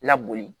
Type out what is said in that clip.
La boli